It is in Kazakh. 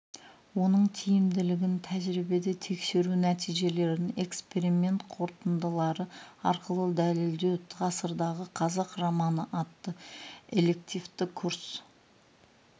оның тиімділігін тәжірибеде тексеру нәтижелерін эксперимент қорытындылары арқылы дәлелдеу ғасырдағы қазақ романы атты элективті курс